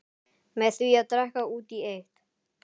Með því að drekka út í eitt.